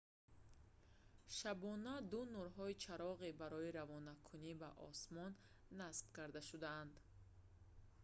шабона ду нурҳои чароғӣ барои равонакунӣ ба осмон насб карда шуданд